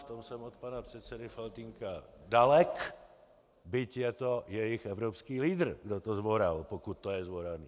V tom jsem od pana předsedy Faltýnka dalek, byť je to jejich evropský lídr, kdo to zvoral, pokud to je zvoraný.